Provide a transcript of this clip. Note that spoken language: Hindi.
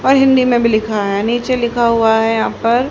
और हिंदी मे भी लिखा है नीचे लिखा हुआ है यहां पर--